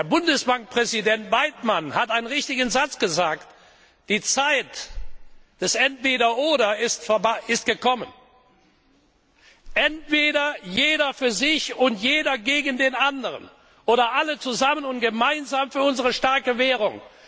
Bundesbankpräsident Weidmann hat einen richtigen Satz gesagt Die Zeit des Entweder oder ist gekommen entweder jeder für sich und jeder gegen den anderen oder alle zusammen und gemeinsam für unsere starke Währung.